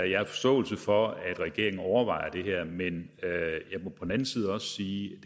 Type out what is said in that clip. jeg har forståelse for at regeringen overvejer det her men jeg må på den anden side også sige